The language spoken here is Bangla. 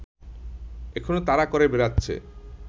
এখনো তাড়া করে বেড়াচ্ছে